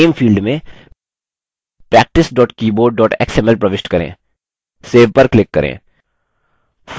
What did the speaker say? name field में practice keyboard xml प्रविष्ट करें save पर click करें